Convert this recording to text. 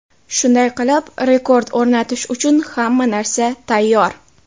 Shunday qilib, rekord o‘rnatish uchun hamma narsa tayyor.